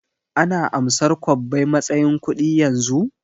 Ana amsar kwabbai matsayin kuɗi yanzu?